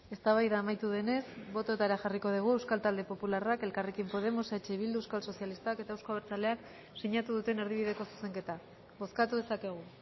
eztabaida amaitu denez bototara jarriko dugu euskal talde popularra elkarrekin podemos eh bildu euskal sozialistak eta euzko abertzaleak sinatu duten erdibideko zuzenketa bozkatu dezakegu